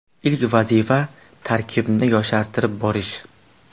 Ilk vazifa tarkibni yoshartirib borish.